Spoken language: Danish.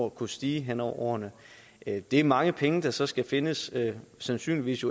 at kunne stige hen over årene det er mange penge der så skal findes og jo sandsynligvis